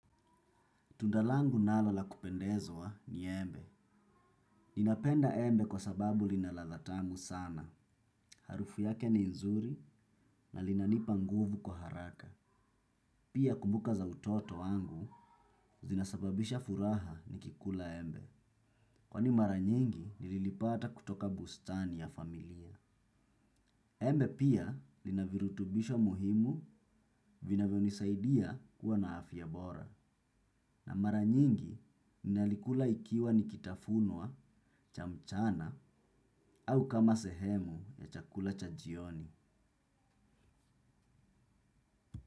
Tunda langu nalo la kupendezwa ni embe. Ninapenda embe kwa sababu lina ladha tamu sana. Harufu yake ni nzuri na linanipa nguvu kwa haraka. Pia kumbuka za utoto wangu zinasababisha furaha nikikula embe. Kwani mara nyingi nililipata kutoka bustani ya familia. Embe pia lina virutubisho muhimu vinavyonisaidia kuwa na afya bora. Na mara nyingi, ninalikula ikiwa ni kitafunwa cha mchana au kama sehemu ya chakula cha jioni.